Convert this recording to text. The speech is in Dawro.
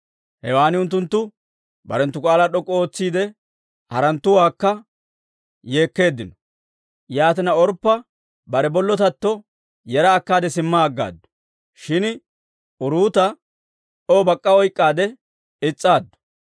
Hewan unttunttu barenttu k'aalaa d'ok'k'u ootsiidde yeekkeeddino. Yaatina Orppa bare bollotatto yera akkaade, simma aggaaddu. Shin uruuta O bak'k'a oyk'k'aade is's'aaddu.